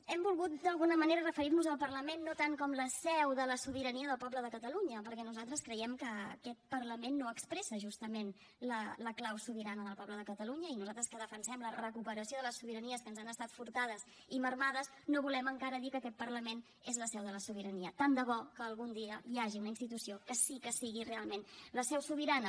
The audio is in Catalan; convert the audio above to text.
hem volgut d’alguna manera referir nos al parlament no tant com la seu de la sobirania del poble de catalunya perquè nosaltres creiem que aquest parlament no expressa justament la clau sobirana del poble de catalunya i nosaltres que defensem la recuperació de les sobiranies que ens han estat furtades i minvades no volem encara dir que aquest parlament és la seu de la sobirania tant de bo que algun dia hi hagi una institució que sí que sigui realment la seu sobirana